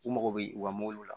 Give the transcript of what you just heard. U mago bɛ u ka mobiliw la